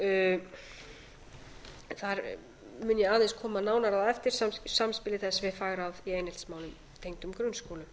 þar mun ég aðeins koma nánar að á eftir samspili þess við fagráð í eineltismálum tengdum grunnskólum